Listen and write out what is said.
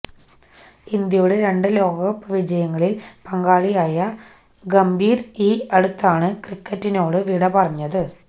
ഇന്ത്യയുടെ രണ്ട് ലോകകപ്പ് വിജയങ്ങളില് പങ്കാളിയായ ഗംഭീര് ഈ അടുത്താണ് ക്രിക്കറ്റിനോട് വിട പറഞ്ഞത്